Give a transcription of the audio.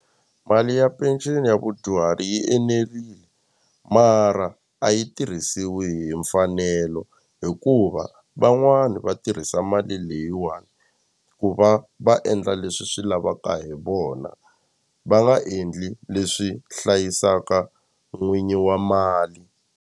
Mali ya penceni ya vadyuhari yi enerile mara a yi tirhisiwi hi mfanelo hikuva van'wani va tirhisa mali leyiwani ku va va endla leswi swi lavaka hi vona va nga endli leswi hlayisaka n'winyi wa mali.